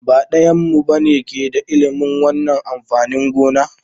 Ba ɗayanmu ba ne ke da ilimin wannan amfanin gona.